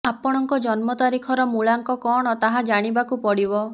ଆପଙ୍କ ଜନ୍ମ ତାରିଖର ମୂଳାଙ୍କ କଅଣ ତାହା ଜାଣିବାକୁ ପଡିବ